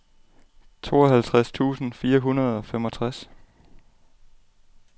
tooghalvtreds tusind fire hundrede og femogtres